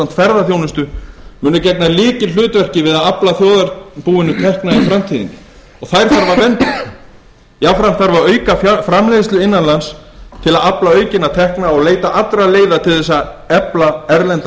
ferðaþjónustu munu gegna lykilhlutverki við að afla þjóðarbúinu tekna í framtíðinni og þær þarf að vernda jafnframt þarf að auka framleiðslu innan lands til að afla aukinna tekna og leita allra leiða til að efla erlenda